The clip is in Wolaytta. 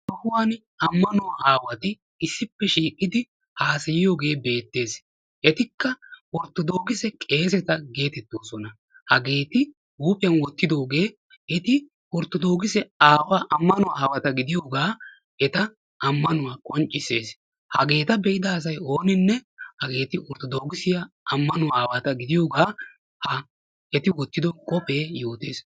Ha sohuwan Ammanuwa aawati issippe shiiqidi hassayiyooge beettees. Etikka Orttodokisse qeeseta getettosona. Hageeti huuphiyaan wottidooge eti Orttodookise aawa ammanuwa aawata gidiyoogaa eta qonccisses. Hageeta be'ada asay ooninne hageeti orttodokissiya amanuwa aawata gidiyooga ha eti wottido qophe yootees.